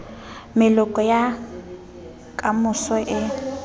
meloko ya ka moso e